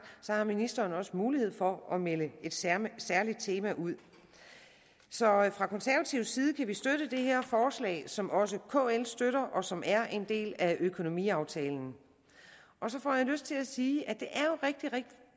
har ministeren også mulighed for at melde et særligt særligt tema ud så fra konservativ side kan vi støtte det her forslag som også kl støtter og som er en del af økonomiaftalen så får jeg lyst til at sige at